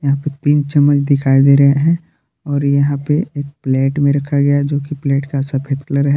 यहा पे तीन चम्मच दिखाई दे रहे है और यहां पे एक प्लेट मे रखा गया है जो कि प्लेट का सफेद कलर है।